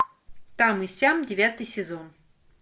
там и сям девятый сезон